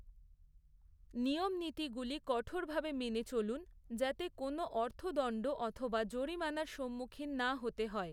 নিয়ম নীতিগুলি কঠোরভাবে মেনে চলুন, যাতে কোনও অর্থদণ্ড অথবা জরিমানার সম্মুখীন না হতে হয়।